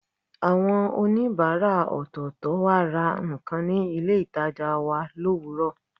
Àwọn oníbàárà ọ̀tọ̀ọ̀tọ̀ wá ra nǹkan ní ilé ìtajà wa lówùúrọ̀